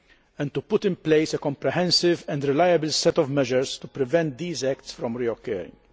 and to put in place a comprehensive and reliable set of measures to prevent these acts from reoccurring.